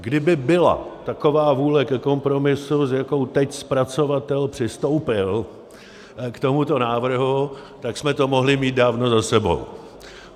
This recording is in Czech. Kdyby byla taková vůle ke kompromisu, s jakou teď zpracovatel přistoupil k tomuto návrhu, tak jsme to mohli mít dávno za sebou.